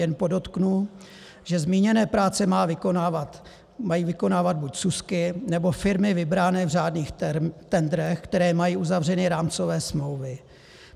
Jen podotknu, že zmíněné práce mají vykonávat buď SÚSky, nebo firmy vybrané v řádných tendrech, které mají uzavřené rámcové smlouvy.